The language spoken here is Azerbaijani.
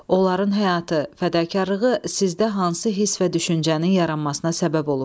Onların həyatı, fədakarlığı sizdə hansı hiss və düşüncənin yaranmasına səbəb olub?